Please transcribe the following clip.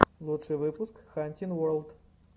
лучший выпуск хантин ворлд